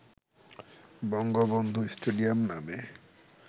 Bangabandhu stadium নামে